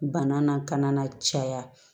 Bana na ka na caya